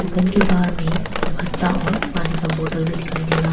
दुकान के बाहर में बस्ता और पानी का बॉटल भी दिखाई दे रहा--